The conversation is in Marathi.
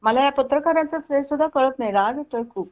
मला पत्रकारांचा हे सुद्धा कळत नाही राग येतोय खूप